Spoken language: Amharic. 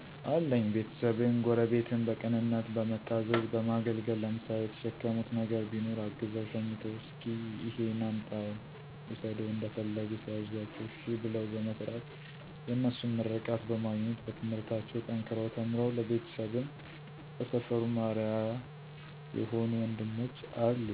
አለኝ ቤተሰብን፣ ጎረቤትን በቅንነት በመታዘዝ በማገልገል ለምሳሌ የተሸከሙት ነገር ቢኖር አግዘው/ሸኝተው እሰኪ እሄን አምጣው ውሰደው እንደፈለጉ ሲያዝዟቸው እሸ ብለው በመስራት የነሱን ምርቃት በማግኘት በትምህርታቸው ጠንከረው ተምረው ለቤተሰብም ለሰፈሩም አርያ የሆ ወንድሞች አሉኝ።